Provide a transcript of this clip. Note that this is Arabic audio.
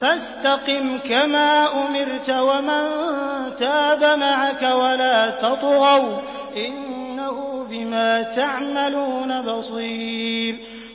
فَاسْتَقِمْ كَمَا أُمِرْتَ وَمَن تَابَ مَعَكَ وَلَا تَطْغَوْا ۚ إِنَّهُ بِمَا تَعْمَلُونَ بَصِيرٌ